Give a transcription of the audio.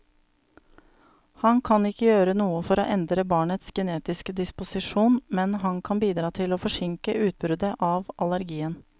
Han kan ikke gjøre noe for å endre barnets genetiske disposisjon, men han kan bidra til å forsinke utbruddet av allergien.